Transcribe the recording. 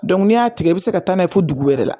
n'i y'a tigɛ i bi se ka taa n'a ye fɔ dugu wɛrɛ la